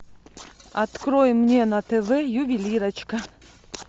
открой мне на тв ювелирочка